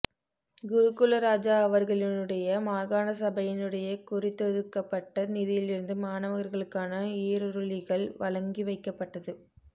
குருகுலராஜா அவர்களினுடைய மாகாண சபையினுடைய குறித்தொதுக்கப்பட்ட நிதியிலிருந்து மாணவர்களுக்கான ஈருறுளிகள் வழங்கி வைக்கப்பட்டது